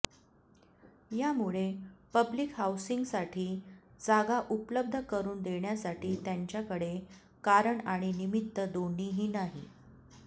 यामुळे पब्लिक हाऊसिंगसासाठी जागा उपलब्ध करून देण्यासाठी त्यांच्याकडे कारण आणि निमित्त दोन्हीही नाही